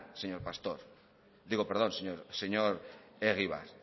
señor egibar y además señor egibar